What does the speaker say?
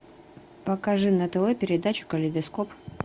покажи на тв передачу калейдоскоп